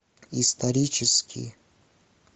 исторический